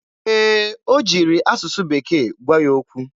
Ee, o jiri asụsụ bekee gwa ya okwu.